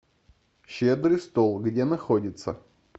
щедрый стол где находится